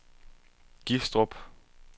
Gistrup